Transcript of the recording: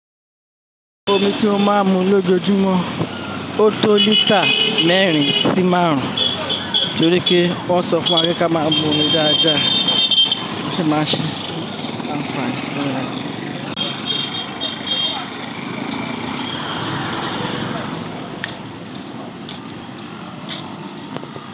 Omi tí ó máa ń mu lójoojúmọ́ ó tó lítà mẹ́rin sí márùn-ún torí pé wón sọ fún wa pé ká máa ń mu omi dáadáa. Ó ṣe má ń sè àǹfààní fún àrà.